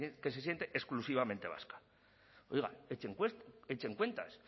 que se siente exclusivamente vasca oiga echen cuentas